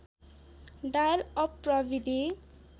dial up प्रविधि